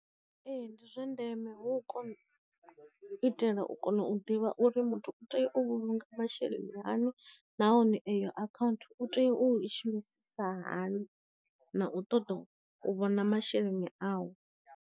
Ee ndi zwa ndeme hu kon itela u kona u ḓivha uri muthu u tea u vhulunga masheleni hani nahone eyo akhaunthu u tea u i shumisa hani na u ṱoḓa u vhona masheleni awu.